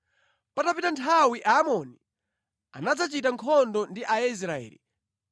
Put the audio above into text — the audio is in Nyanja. Patapita nthawi Aamoni anadzachita nkhondo ndi Israeli.